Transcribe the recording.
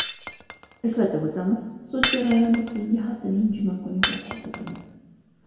Eslatib o‘tamiz, sud jarayoni keyingi haftaning juma kuniga qoldirildi.